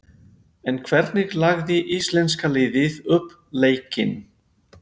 En hvernig lagði íslenska liðið upp leikinn?